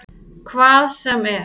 Hvað sem er?